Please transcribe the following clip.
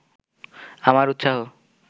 আমার উৎসাহ